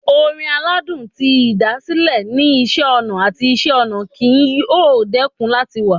Orin aladun ti ĭdàsĭlẹ ni Iṣẹ ọna ati Iṣẹ-ọnà kii yoo dẹkun lati wa